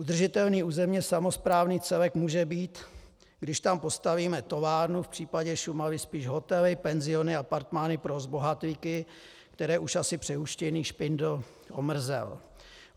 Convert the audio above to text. Udržitelný územně samosprávný celek může být, když tam postavíme továrnu, v případě Šumavy spíš hotely, penziony, apartmány pro zbohatlíky, které už asi přehuštěný Špindl omrzel.